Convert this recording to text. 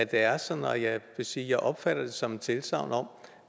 er sådan og jeg vil sige at jeg opfatter det som et tilsagn om